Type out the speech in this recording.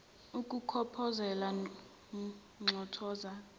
ukukhophoza nxothoza hloniza